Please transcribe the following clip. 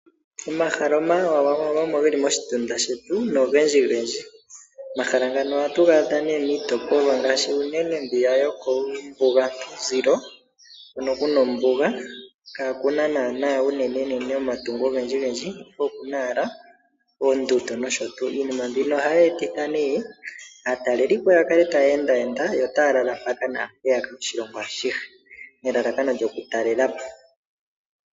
Omahala omawawawa omo ge li moshitunda shetu nogendjigendji. Omahala ngano ohatu ga adha miitopolwa ngaashi unene yokuumbugantuzilo hono ku na ombuga kaaku na naanaa omatungo ogendjigendji, ihe oku na owala oondundu nosho tuu. Iinima mbino ohayi etitha aatalelipo ya kale taya endaenda yo otaa lala mpaka naa mpeyaka oshilongo ashihe nelalakano lyokutalela po.